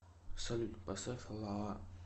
салют поставь лаа